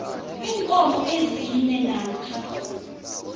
iinkomo ezine namkha